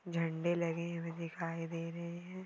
झंडे लगे हुए दिखाई दे रहे है।